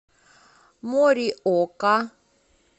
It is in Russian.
мориока